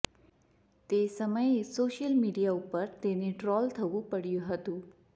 તે સમયે social media ઉપર તેને ટ્રોલ થવુ પડ્યું હતું